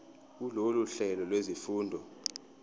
kulolu hlelo lwezifundo